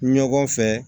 Ɲɔgɔn fɛ